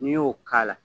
N'i y'o k'a la